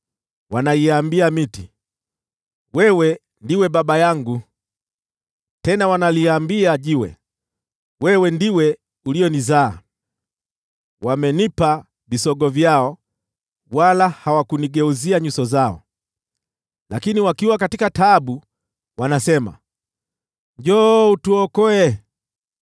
Wanaiambia miti, ‘Wewe ndiwe baba yangu,’ nalo jiwe, ‘Wewe ndiwe uliyenizaa.’ Wamenipa visogo vyao wala hawakunigeuzia nyuso zao; lakini wakiwa katika taabu, wanasema, ‘Njoo utuokoe!’